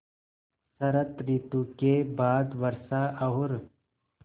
शरत ॠतु के बाद वर्षा और